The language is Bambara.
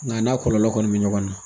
Nka n'a kɔlɔlɔ kɔni mɛ ɲɔgɔn na